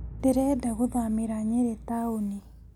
Nĩrenda gũthamĩra nyĩrĩ taũni